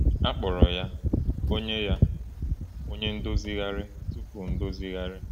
A kpọrọ ya “Onye ya “Onye Ndozigharị Tupu Ndozigharị.”